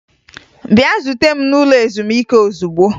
Bịa zuta m n'ụlọ ezumike ozugbo!